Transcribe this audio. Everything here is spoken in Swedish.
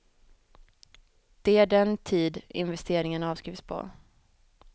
De är den tid investeringen avskrivs på.